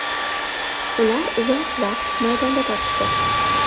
Ular uzoq vaqt maydonda tortishdi.